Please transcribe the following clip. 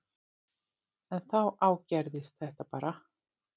En þá ágerðist þetta bara.